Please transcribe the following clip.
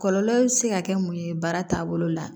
Kɔlɔlɔ bɛ se ka kɛ mun ye baara taabolo la